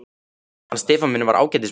Hann Stefán minn var ágætis barn.